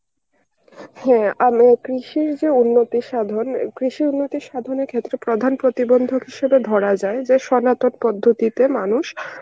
হ্যাঁ আমি কৃষির যে উন্নতি সাধন উম কৃষির উন্নতি সাধনের ক্ষেত্রে প্রধান প্রতিবন্ধক হিসাবে ধরা যায় যে সনাতন পদ্ধতিতে মানুষ